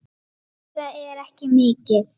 Nei, það er ekki mikið.